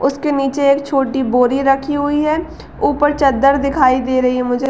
उसके नीचे एक छोटी बोरी रखी हुई है। ऊपर चद्दर दिखाई दे रही है मुझे।